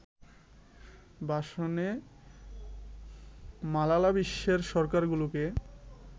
ভাষণে মালালা বিশ্বের সরকারগুলোকে